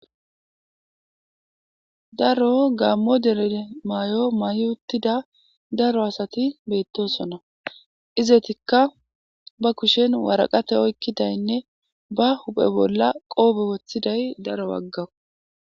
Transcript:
Daro gammo dere maay'o may'o uttida daro asati beettosona izetikka ba kushen waraqate oykkidaynne ba huphe bolla qoobe woththiday daro waggawu.